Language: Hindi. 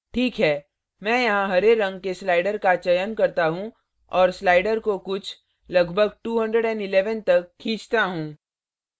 ठीक है मैं यहाँ ok रंग के slider का चयन करता हूँ और slider को कुछ लगभग 211 तक खींचता हूँ